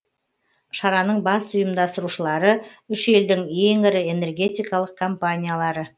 шараның басты ұйымдастырушылары үш елдің ең ірі энергетикалық компаниялары